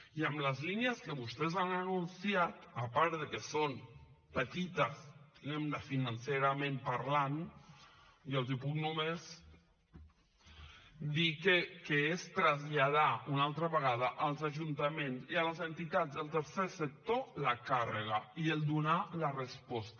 i amb les línies que vostès han anunciat a part de que són petites financerament parlant i els puc només dir que és traslladar una altra vegada als ajuntaments i a les entitats dels sector la càrrega i donar la resposta